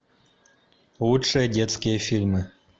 лучшие детские фильмы